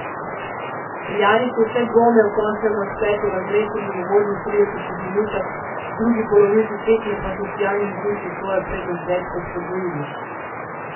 Celjani so vse dvome o končnem razpletu razrešili v uvodnih tridesetih minutah, v drugi polovici tekme pa so v sijajnem vzdušju svojo prednost več kot podvojili.